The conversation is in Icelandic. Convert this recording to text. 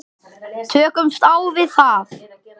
Tökumst á við það.